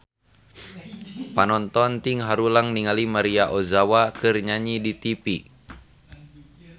Panonton ting haruleng ningali Maria Ozawa keur nyanyi di tipi